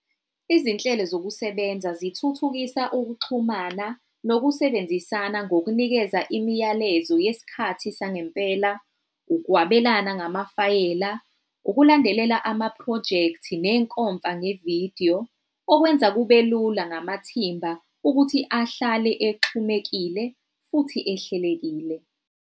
Izinhlelo zokusebenza zithuthukisa ukuxhumana nokusebenzisana ngokunikeza imiyalezo yesikhathi sangempela, ukwabelana ngamafayela, ukulandelela ama-phrojekthi nenkomfa ngevidiyo. Okwenza kube lula namathimba ukuthi ahlale exhumekile futhi ehlelekile.